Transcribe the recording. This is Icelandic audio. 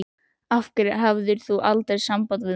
Af hverju hafðir þú aldrei samband við mig?